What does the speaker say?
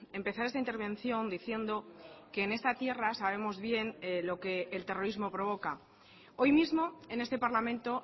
empezar esta intervención diciendo que en esta tierra sabemos bien lo que el terrorismo provoca hoy mismo en este parlamento